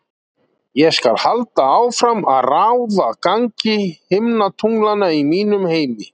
Ég skal halda áfram að ráða gangi himintunglanna í mínum heimi.